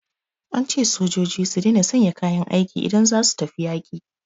An ce sojoji su daina sanya kayan aiki idan za su tafi yaƙi